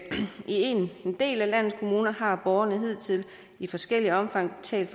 del af landets kommuner har borgerne hidtil i forskelligt omfang betalt